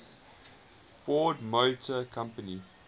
ford motor company